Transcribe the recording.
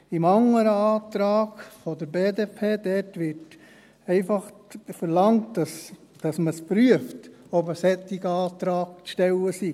Im anderen Antrag der BDP wird einfach verlangt, dass man prüft, ob ein solcher Antrag zu stellen sei.